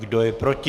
Kdo je proti?